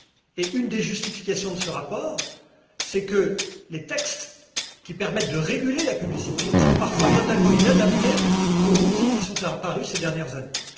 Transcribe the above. Et une des justifications de ce rapport, c'est que les textes qui permettent de réguler la publicité sont parfois totalement inadaptés aux outils qui sont apparus ces dernières années.